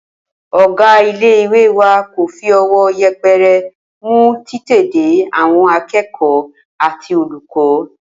Ò̩gá ilé ìwé wa kò fi o̩wó̩ ye̩pe̩re̩ mú títètèdé àwo̩n aké̩kò̩ó̩ àti olùkó̩